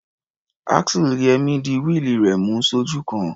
Axle Yẹmí di wíìlì rẹ̀ mú sójú kan.